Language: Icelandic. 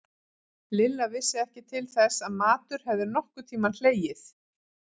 Lilla vissi ekki til þess að matur hefði nokkurn tímann hlegið.